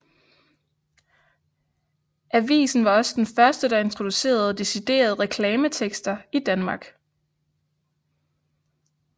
Avisen var også den første der introducerede deciderede reklametekster i Danmark